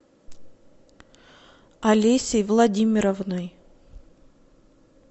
олесей владимировной